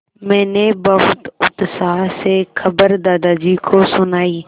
मैंने बहुत उत्साह से खबर दादाजी को सुनाई